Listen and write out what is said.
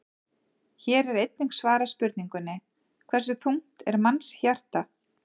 Hér er einnig svarað spurningunni: Hversu þungt er mannshjarta?